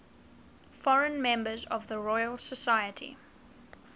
foreign members of the royal society